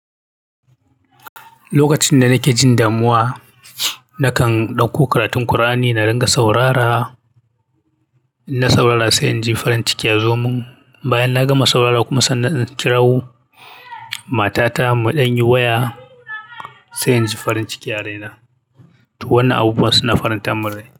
Lokacin da nake jin damuwa, nakan ɗauko karatun Kur'ani na dinga saurara, in na saurara sai in ji farin ciki ya zo mun. Bayan na gama saurara kuma sannan zan kirawo matata mu dan yi waya, sai in ji farin ciki ya raina. To wannan abubuwa suna faranta man rai.